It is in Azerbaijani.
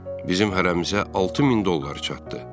Bizim hərəmizə 6000 dollar çatdı.